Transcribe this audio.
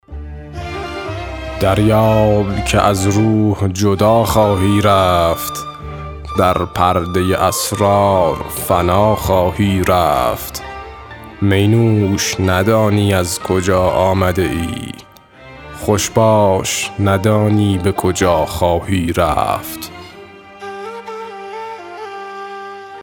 دریاب که از روح جدا خواهی رفت در پرده اسرار فنا خواهی رفت می نوش ندانی از کجا آمده ای خوش باش ندانی به کجا خواهی رفت